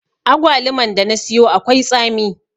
Agwaluman da na siyo akwai tsami.